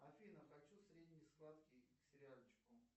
афина хочу средний сладкий к сериальчику